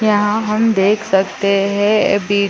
यहाँ हम देख सकते है बीच--